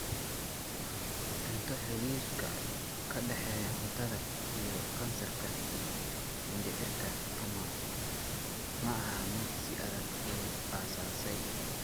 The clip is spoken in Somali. Cunto Xidhiidhka ka dhexeeya cuntada iyo kansarka mindhicirka ma aha mid si adag loo aasaasay.